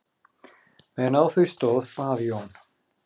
Meðan á því stóð bað Jón